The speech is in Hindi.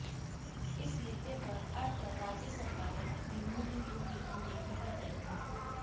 इस मुद्दे पर अड़ कर राज्य सरकारें अपने मूल हितों की अनदेखी कर रही हैं